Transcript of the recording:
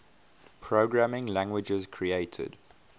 programming languages created